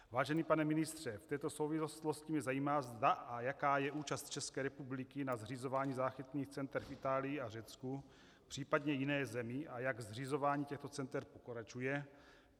Vážený pane ministře, v této souvislosti mě zajímá, zda a jaká je účast České republiky na zřizování záchytných center v Itálii a Řecku, případně jiné zemi, a jak zřizování těchto center pokračuje.